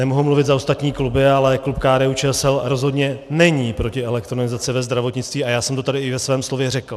Nemohu mluvit za ostatní kluby, ale klub KDU-ČSL rozhodně není proti elektronizaci ve zdravotnictví a já jsem to tady i ve svém slově řekl.